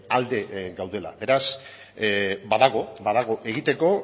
alde gaudela beraz badago badago egiteko